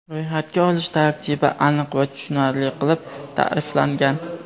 Ro‘yxatga olish tartibi aniq va tushunarli qilib ta’riflangan.